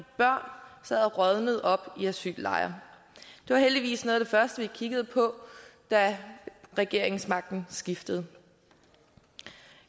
børn sad og rådnede op i asyllejrene det var heldigvis noget af det første vi kiggede på da regeringsmagten skiftede